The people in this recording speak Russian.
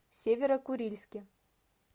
северо курильске